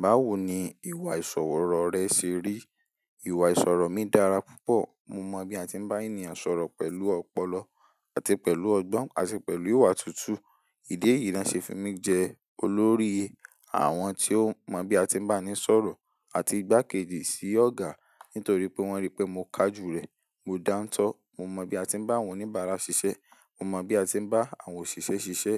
Báwo ni ìwà ìsọ̀rọ̀ rẹ ṣe rí? Ìwà ìsọ̀rọ̀ mi dára púpọ̀. Mo mọ bí a ti ń bá ènìyàn sọ̀rọ̀ pẹ̀lú ọpọlọ àti pẹ̀lú ọgbọ́n àti pẹ̀lú ìwà tútù. Ìdí èyí ni wọ́n ṣe fún mi jẹ olórí àwọn tí ó mọ bí a ti ń bá ni sọ̀rọ̀ àti igbákejì sí Ọ̀gá nítorí pé wọ́n rí pé mo kájú rẹ̀, mo dántọ́, mo mọ bí a ti ń bá àwọn oníbàárà ṣiṣẹ́, mo mọ bí a ti ń bá àwọn òṣìṣẹ́ ṣiṣẹ́.